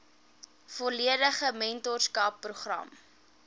volledige mentorskap program